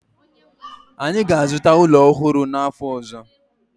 anyi ga-azuta ulo ohuru n'afo ozo